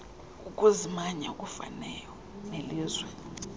ukuzimanya okufanayo nelizwe